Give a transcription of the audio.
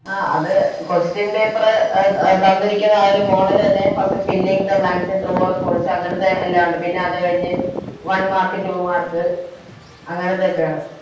ആ അതെ Question paper എ ത തന്നിരിക്കുന്ന ആ ഒര് Model തന്നെ Filling the blanks true or false അങ്ങനത്തെ എല്ലാവോണ്ട് പിന്നെ അത് കഴിഞ്ഞ് One mark two mark അങ്ങനത്തെ ഒക്കെ ആണ്